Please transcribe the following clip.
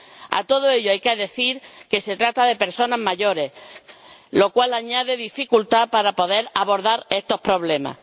A todo ello hay que sumar que se trata de personas mayores, lo cual añade dificultad para poder abordar estos problemas.